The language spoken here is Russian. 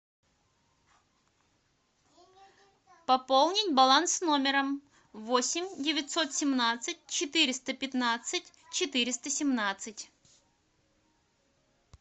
пополнить баланс номера восемь девятьсот семнадцать четыреста пятнадцать четыреста семнадцать